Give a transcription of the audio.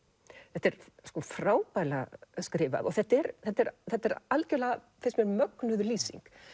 þetta er frábærlega skrifað þetta er þetta er þetta er algjörlega finnst mér mögnuð lýsing